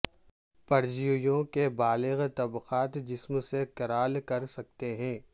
پرجیویوں کے بالغ طبقات جسم سے کرال کر سکتے ہیں